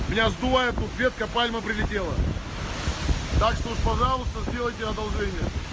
меня сдувает тут ветка пальма прилетела так что уж пожалуйста сделайте одолжение